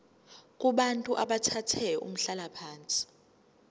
kubantu abathathe umhlalaphansi